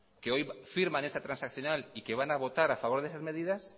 que hoy firman esta transaccional y que van a votar a favor de esas medidas